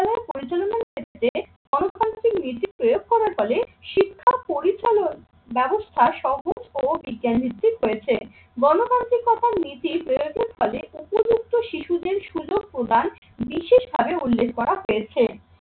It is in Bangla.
পরিচালনার ক্ষেত্রে প্রয়োগ করার ফলে শিক্ষা পরিচালন ব্যবস্থা সহ ও বিজ্ঞান নিশ্চিত হয়েছে গণতান্ত্রিকতার নীতি প্রয়াতের ফলে উপযুক্ত শিশুদের সুযোগ প্রদান বিশেষভাবে উল্লেখ করা হয়েছে।